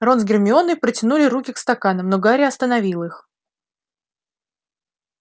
рон с гермионой протянули руки к стаканам но гарри остановил их